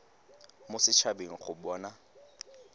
mo set habeng go bona